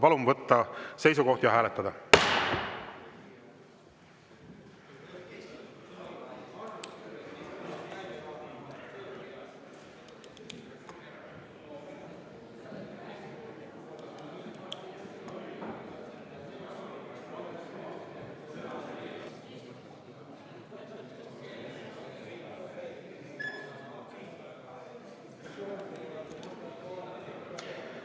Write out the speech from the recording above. Palun võtta seisukoht ja hääletada!